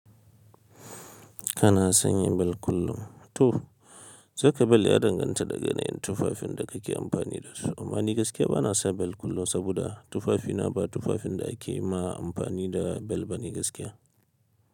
Kana sanya bel kullum? To, saka bel ya danganta da ga yana yin tufafin da kake amfani dasu. Amma ni gaskiya bana sa bel kullum saboda tufafina ba tufafin da ake ma amfani da bel bane gaskiya.